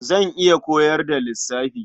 Zan iya koyar da lissafi.